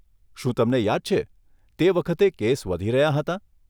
શું તમને યાદ છે, તે વખતે કેસ વધી રહ્યાં હતાં?